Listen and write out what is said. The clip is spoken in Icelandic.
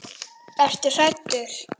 Ertu hræddur?